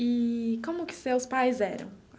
Eee como que seus pais eram?